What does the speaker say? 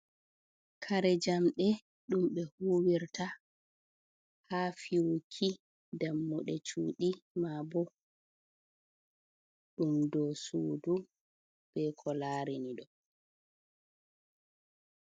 Kare njamɗe ɗum ɓe huwirta ha fiyuki dammuɗe cuuɗi, maa bo ɗum dou suudu be ko larini ɗo.